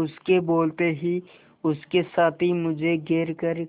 उसके बोलते ही उसके साथी मुझे घेर कर